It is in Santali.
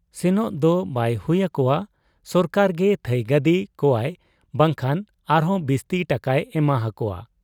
ᱥᱮᱱᱚᱜ ᱫᱚ ᱵᱟᱭ ᱦᱩᱭ ᱟᱠᱚᱣᱟ ᱥᱚᱨᱠᱟᱨᱜᱮ ᱛᱷᱟᱺᱭᱜᱟᱹᱫᱤ ᱠᱚᱣᱟᱭ ᱵᱟᱝᱠᱷᱟᱱ ᱟᱨᱦᱚᱸ ᱵᱤᱥᱛᱤ ᱴᱟᱠᱟᱭ ᱮᱢᱟ ᱦᱟᱠᱚᱣᱟ ᱾